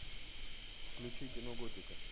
включи кино готика